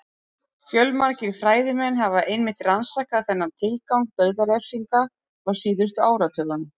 Fjölmargir fræðimenn hafa einmitt rannsakað þennan tilgang dauðarefsinga á síðustu áratugum.